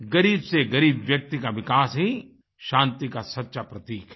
ग़रीब से ग़रीब व्यक्ति का विकास ही शांति का सच्चा प्रतीक है